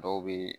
Dɔw bɛ